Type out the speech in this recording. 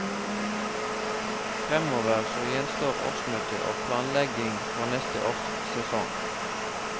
Framover så gjenstår årsmøte og planlegging for neste års sesong.